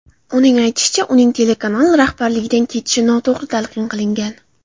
Uning aytishicha, uning telekanal rahbarligidan ketishi noto‘g‘ri talqin qilingan .